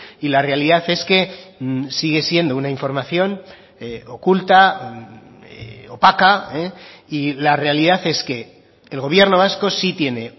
y la realidad es que sigue siendo una información oculta opaca y la realidad es que el gobierno vasco sí tiene